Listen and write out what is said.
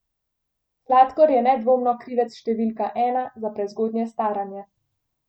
Sladkor je nedvomno krivec številka ena za prezgodnje staranje.